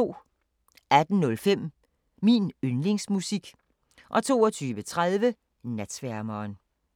18:05: Min yndlingsmusik 22:30: Natsværmeren